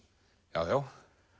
já já